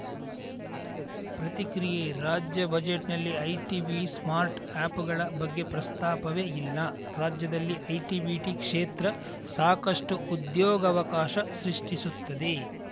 ಪ್ರತಿಕ್ರಿಯೆ ರಾಜ್ಯ ಬಜೆಟ್‌ನಲ್ಲಿ ಐಟಿಬಿ ಸ್ಟಾರ್ಟ್‌ ಅಪ್‌ಗಳ ಬಗ್ಗೆ ಪ್ರಸ್ತಾಪವೇ ಇಲ್ಲ ರಾಜ್ಯದಲ್ಲಿ ಐಟಿಬಿಟಿ ಕ್ಷೇತ್ರ ಸಾಕಷ್ಟುಉದ್ಯೋಗವಕಾಶ ಸೃಷ್ಟಿಸುತ್ತದೆ